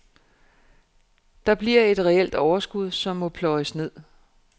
Der bliver et reelt overskud, som må pløjes ned.